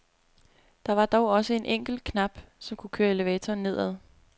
Der var dog også en enkelt knap, som kunne køre elevatoren nedad.